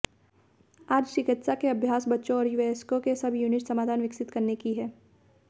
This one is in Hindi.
आज चिकित्सा के अभ्यास बच्चों और वयस्कों के सबयूनिट समाधान विकसित करने की है